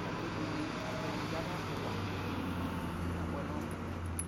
ka ke buele ka zɛvi Gana ko wa Abuɛ nɔmu